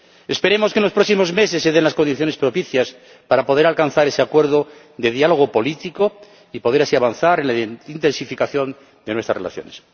Esperemos que, en los próximos meses, se den las condiciones propicias para poder alcanzar ese acuerdo de diálogo político y poder así avanzar en la intensificación de nuestras relaciones.